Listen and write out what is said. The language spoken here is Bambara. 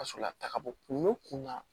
Ka sɔrɔ a taga bɔ kun na